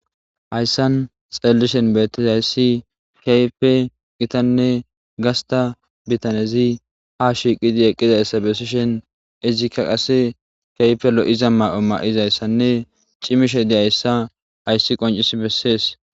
Hayisan xelelishen beettizayssi keype gitanne gasta bitanezi ha shiiqidi eqqizayssa besishen izikka qase keype lo'iza mayo ma'izayssanne cimishe diyayssa hayssi qoncis bessees